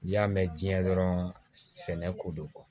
N'i y'a mɛn diɲɛ dɔrɔn sɛnɛ ko don kuwa